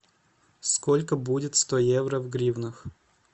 сколько будет сто евро в гривнах